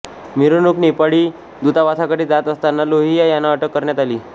मिरवणूक नेपाळी दूतावासाकडे जात असताना लोहिया यांना अटक करण्यात आली